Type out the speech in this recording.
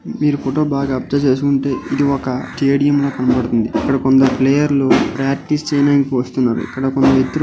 మీరు ఫోటో ని బాగా అబ్సర్వ్ చేసివుంటే ఇది ఒక స్టేడియం ల కనపడుతుంది ఇక్కడ కొందరు ప్లేయర్ లు ప్రాక్టీస్ చేయానికి వస్తున్నారు ఇక్కడ కొందరు వ్యక్తులు --